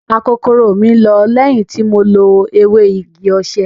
Akokoro mi lọ lẹ́yìn tí mo lo ewé igi osè.